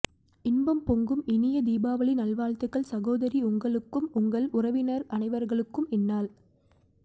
இன்பம் பொங்கும் இனிய தீபாவளி நல் வாழ்த்துக்கள் சகோதரி உங்களுக்கும் உங்கள் உறவினர்கள் அனைவருக்கும் இந்நாள்